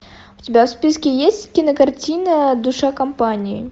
у тебя в списке есть кинокартина душа компании